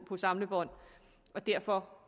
samlebånd og derfor